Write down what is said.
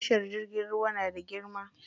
Tashar jirgin ruwa na da girma.